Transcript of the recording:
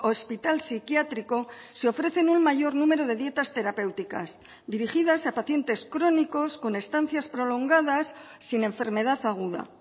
hospital psiquiátrico se ofrecen un mayor número de dietas terapéuticas dirigidas a pacientes crónicos con estancias prolongadas sin enfermedad aguda